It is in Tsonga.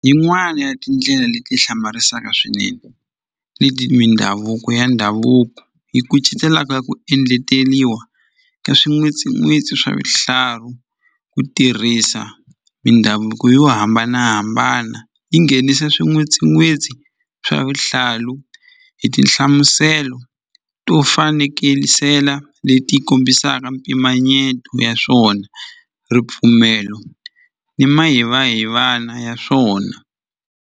Yin'wani ya tindlela leti hlamarisaka swinene mindhavuko ya ndhavuko i ku cincela ka ku endleliwa ni swin'win'witsi swa vihlarhu ku tirhisa mindhavuko yo hambanahambana yi nghenise swin'witsin'wisi swa vuhlalu hi tinhlamuselo to fanekelisela leti kombisaka mpimanyeto ya swona ripfumelo ni ma hiva hivana ya swona.